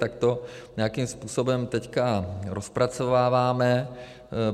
Takže to nějakým způsobem teď rozpracováváme.